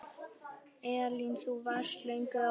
Elín: Þú varst löngu ákveðin?